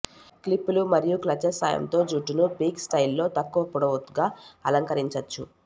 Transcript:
క్లిప్పులు మరియు క్లచెస్ సాయంతో జుట్టును పిక్సీ స్టైల్ లో తక్కువ పొడవుగా అలంకరించవచ్చు